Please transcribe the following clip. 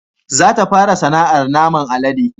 Za ta fara sana'ar naman alade